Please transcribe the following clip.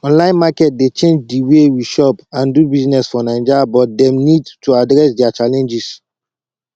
online market dey change di way we shop and do business for naija but dem need to address dia challenges